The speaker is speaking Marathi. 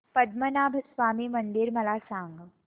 पद्मनाभ स्वामी मंदिर मला सांग